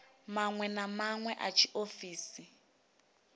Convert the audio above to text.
maṅwe na maṅwe a tshiofisi